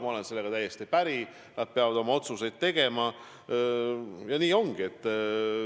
Ma olen sellega täiesti päri, nad peavad oma otsuseid tegema – nii ongi.